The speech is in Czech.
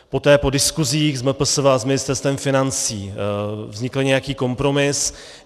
Poté po diskusích s MPSV a s Ministerstvem financí vznikl nějaký kompromis.